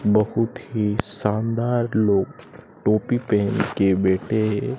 बहुत ही शानदार लोग टोपी पहन के बैठे है।